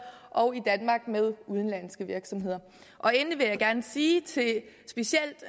og med udenlandske virksomheder endelig vil jeg gerne sige til specielt